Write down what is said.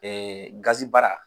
Ɛɛ gazi baara